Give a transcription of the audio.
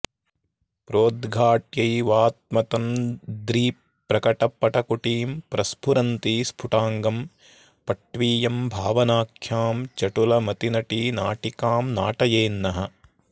प्रोद्घाट्यैवात्मतन्द्रीप्रकटपटकुटीं प्रस्फुरन्ती स्फुटाङ्गम् पट्वीयं भावनाख्यां चटुलमतिनटी नाटिकां नाटयेन्नः